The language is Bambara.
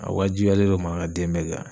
A waajibiyalen don marakaden bɛɛ kan.